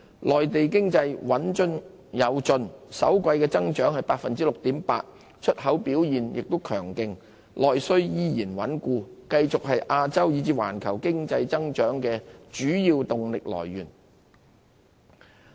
內地經濟穩中有進，首季增長 6.8%， 出口表現強勁，內需依然穩固，繼續是亞洲以至環球經濟增長的主要動力來源。